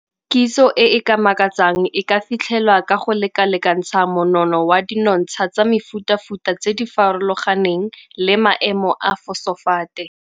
Kitso e e ka makatsang e ka fitlhelwa ka go lekalekantsha monono wa dinontsha tsa mefutafuta tse di farologaneng le maemo a fosofate.